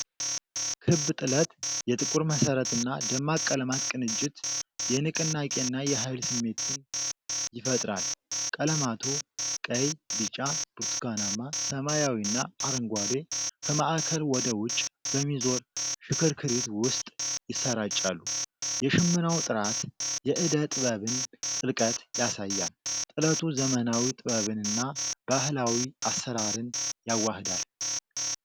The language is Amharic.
ክብ ጥለት፣ የጥቁር መሠረትና ደማቅ ቀለማት ቅንጅት፣ የንቅናቄና የሃይል ስሜትን ይፈጥራል። ቀለማቱ (ቀይ፣ ቢጫ፣ ብርቱካናማ፣ ሰማያዊና አረንጓዴ) ከማዕከል ወደ ውጭ በሚዞር ሽክርክሪት ውስጥ ይሰራጫሉ። የሽመናው ጥራት የዕደ-ጥበብን ጥልቀት ያሳያል። ጥለቱ ዘመናዊ ጥበብንና ባህላዊ አሰራርን ያዋህዳል።